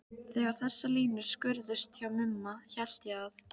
Þegar þessar línur skýrðust hjá Mumma hélt ég að